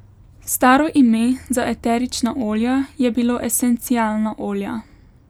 Staro ime za eterična olja je bilo esencialna olja.